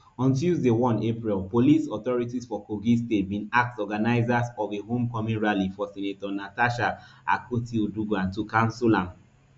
on tuesday one april police authorities for kogi state bin ask organisers of a homecoming rally for senator natasha akpotiuduaghan to cancel am